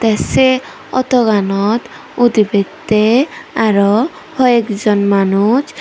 tey sei autoganot udibettey aro hoiekjon manuj.